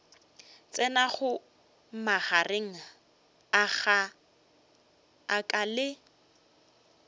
tsenago magareng a ka le